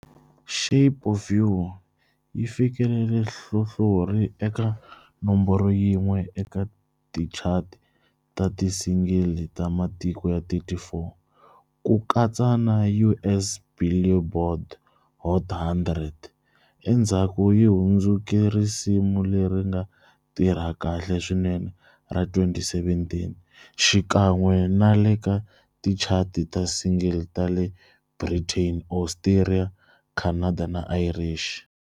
"Shape of You" yi fikelele nhlohlorhi eka nomboro yin'we eka tichati ta ti single ta matiko ya 34, ku katsa na US Billboard Hot 100-endzhaku yi hundzuke risimu leri nga tirha kahle swinene ra 2017-xikan'we na le ka tichati ta ti single ta le Britain, Australia, Canada na Irish.